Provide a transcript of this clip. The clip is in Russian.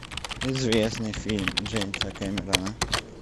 известный фильм джеймса кэмерона